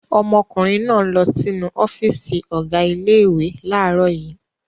Ọmọkùnrin náà lọ sínú ọ́fíísì ọ̀gá ilé-ìwé láàárọ̀ yìí.